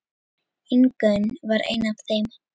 Ingunn var ein af þeim.